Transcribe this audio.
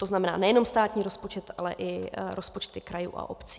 To znamená nejenom státní rozpočet, ale i rozpočty krajů a obcí.